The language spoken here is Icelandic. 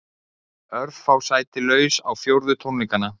Örfá sæti laus á fjórðu tónleikana